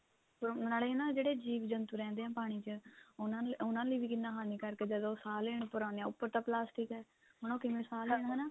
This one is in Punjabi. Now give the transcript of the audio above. ਨਾਲੇ ਨਾ ਜਿਹੜੇ ਜੀਵ ਜੰਤੂ ਰਹਿੰਦੇ ਨੇ ਪਾਣੀ ਚ ਉਹਨਾ ਲਈ ਉਹਨਾ ਲਈ ਵੀ ਕਿੰਨਾ ਹਾਨਿਕਾਰਕ ਏ ਜਦੋਂ ਸਾਂਹ ਲੈਣ ਉੱਪਰ ਆਂਦੇ ਆ ਉੱਪਰ ਤਾਂ ਪਲਾਸਟਿਕ ਏ ਹੁਣ ਉਹ ਕਿਵੇਂ ਸਾਂਹ ਲੈਣ ਹਨਾ